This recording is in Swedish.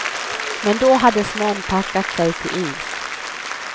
Men då hade snön packat sig till is.